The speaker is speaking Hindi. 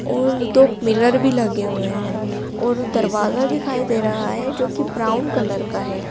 और दो पिलर भी लगे हुए हैं और दरवाजा दिखाई दे रहा है जो कि ब्राउन कलर का है।